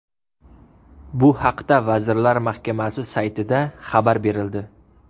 Bu haqda Vazirlar Mahkamasi saytida xabar berildi .